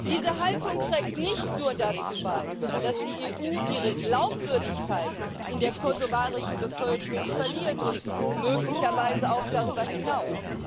Diese Haltung trägt nicht nur dazu bei, dass die EU ihre Glaubwürdigkeit in der kosovarischen Bevölkerung verliert und möglicherweise auch darüber hinaus.